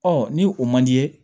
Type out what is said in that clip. ni o man di